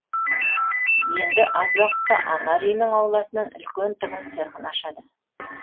енді аз уақытта анар үйінің ауласынан үлкен тігін цехын ашады